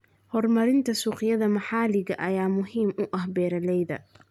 Horumarinta suuqyada maxalliga ah ayaa muhiim u ah beeralayda.